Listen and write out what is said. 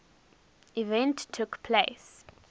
event took place